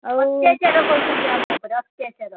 ଆଉ ଅତ୍ୟାଚାର କରୁଛନ୍ତି ଆମ ଉପରେ ଅତ୍ୟାଚାର।